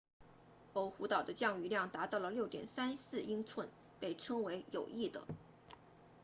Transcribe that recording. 欧胡岛 oahu 的降雨量达到了 6.34 英寸被称为有益的